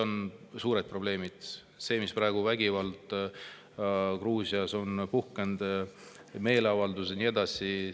On suured probleemid: see vägivald, mis praegu Gruusias on puhkenud, meeleavaldused ja nii edasi.